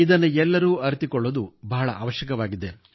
ಇದನ್ನು ಎಲ್ಲರೂ ಅರಿತುಕೊಳ್ಳುವುದು ಬಹಳ ಅವಶ್ಯಕವಾಗಿದೆ